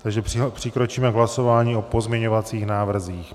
Takže přikročíme k hlasování o pozměňovacích návrzích.